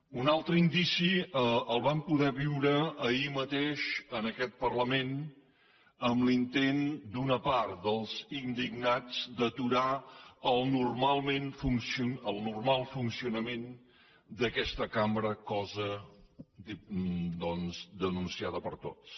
un altre indici el vam poder viure ahir mateix en aquest parlament amb l’intent d’una part dels indignats d’aturar el normal funcionament d’aquesta cambra cosa doncs denunciada per tots